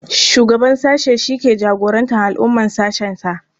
Shugaban sashe shi ke jagorantar al'amuran sashensa.